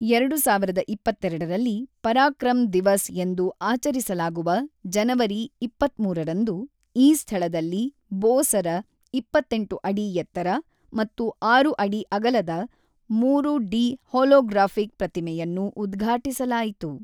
ಎರಡು ಸಾವಿರದ ಇಪ್ಪತ್ತೆರಡರಲ್ಲಿ ಪರಾಕ್ರಮ್ ದಿವಸ್ ಎಂದು ಆಚರಿಸಲಾಗುವ ಜನವರಿ ಇಪ್ಪತ್ತ್ಮೂರರಂದು ಈ ಸ್ಥಳದಲ್ಲಿ ಬೋಸರ ಇಪ್ಪತ್ತೆಂಟು ಅಡಿ ಎತ್ತರ ಮತ್ತು ಆರು ಅಡಿ ಅಗಲದ ಮೂರು ಡಿ ಹೊಲೊಗ್ರಾಫಿಕ್ ಪ್ರತಿಮೆಯನ್ನು ಉದ್ಘಾಟಿಸಲಾಯಿತು.